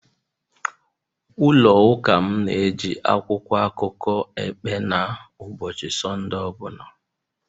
ụlọ Ụka m na-eji akwụkwọ akụkọ epe na ụbọchị Sọnde ọ bụla